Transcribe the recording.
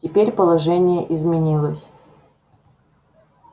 теперь положение изменилось